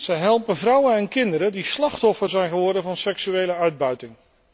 Zij helpen vrouwen en kinderen die slachtoffer zijn geworden van seksuele uitbuiting.